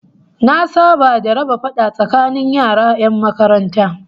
Na saba da raba fada tsakanin yara 'yan makaranta